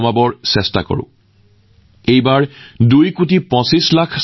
মই সুখী যে এইবাৰ ২৬ কোটিতকৈ অধিক ছাত্ৰছাত্ৰীয়ে ইয়াৰ বাবে পঞ্জীয়ন কৰিছে আৰু লগতে নিজৰ ইনপুট দিছে